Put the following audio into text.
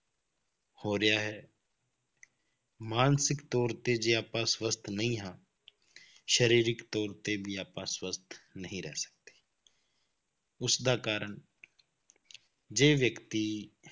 ਹੋ ਰਿਹਾ ਹੈ ਮਾਨਸਿਕ ਤੌਰ ਤੇ ਜੇ ਆਪਾਂ ਸਵਸਥ ਨਹੀਂ ਹਾਂ ਸਰੀਰਕ ਤੌਰ ਤੇ ਵੀ ਆਪਾਂ ਸਵਸਥ ਨਹੀਂ ਰਹਿ ਸਕਦੇ ਉਸਦਾ ਕਾਰਨ ਜੇ ਵਿਅਕਤੀ